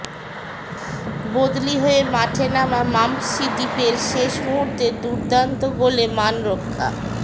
বদলি হয়ে মাঠে নামা ম্যাম্পসি ডিপের শেষ মুর্হূতের দুর্দান্ত গোলে মান রক্ষা